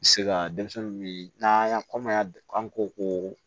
Se ka denmisɛnnin minan y'a kɔmayan ko